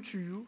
tyve